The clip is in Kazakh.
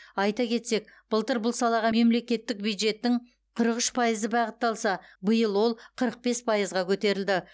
айта кетсек былтыр бұл салаға мемлекеттік бюджеттің қырық үш пайызы бағытталса биыл ол қырық бес пайызға көтерілді